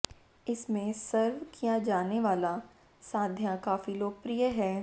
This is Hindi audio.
इसमें सर्व किया जाने वाला साध्या काफी लोकप्रिय है